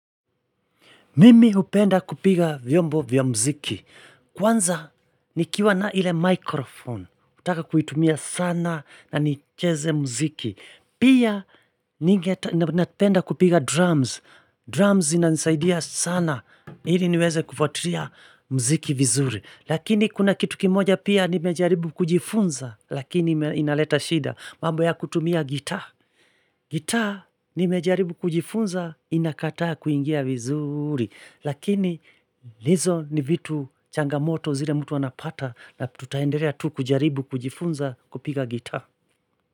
Mimi hupenda kupiga vyombo vya mziki. Kwanza nikiwa na ile microphone. Hutaka kuitumia sana na nicheze mziki. Pia napenda kupiga drums. Drums inanisaidia sana. Hili niweze kufuatiria mziki vizuri. Lakini kuna kitu kimoja pia nimejaribu kujifunza. Lakini inaleta shida. Mambo ya kutumia gitaa. Gitaa nimejaribu kujifunza inakataa kuingia vizuri. Lakini lizo ni vitu changamoto zile mtu anapata na tutaenderea tu kujaribu kujifunza kupiga gitaa.